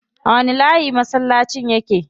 A wani layi masallacin yake?